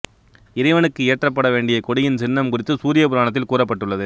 இறைவனுக்கு ஏற்றப்பட வேண்டிய கொடியின் சின்னம் குறித்து சூரிய புராணத்தில் கூறப்பட்டுள்ளது